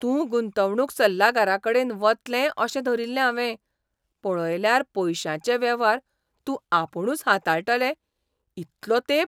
तूं गुंतवणूक सल्लागाराकडेन वतलें अशें धरिल्लें हावें. पळयल्यार पयशांचे वेव्हार तूं आपुणूच हाताळटालें इतलो तेंप.